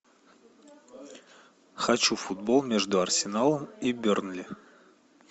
хочу футбол между арсеналом и бернли